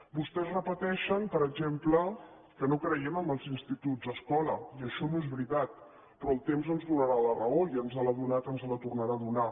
vostès repeteixen per exemple que no creiem en els instituts escola i això no és veritat però el temps ens donarà la raó ja ens l’ha donada i ens la tornarà a donar